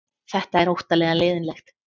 Þetta er óttalega leiðinlegt